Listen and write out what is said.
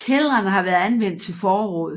Kældrene har været anvendt til forråd